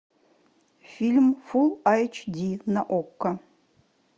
фильм фулл айч ди на окко